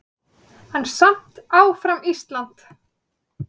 En samt áfram Ísland!